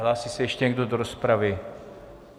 Hlásí se ještě někdo do rozpravy?